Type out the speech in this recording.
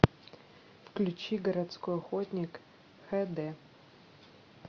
включи городской охотник хэ дэ